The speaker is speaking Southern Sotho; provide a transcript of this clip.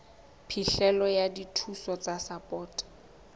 phihlelo ya dithuso tsa sapoto